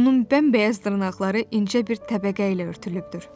onun bəmbəyaz dırnaqları incə bir təbəqə ilə örtülübdür.